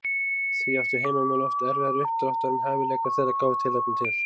Því áttu heimamenn oft erfiðara uppdráttar en hæfileikar þeirra gáfu tilefni til.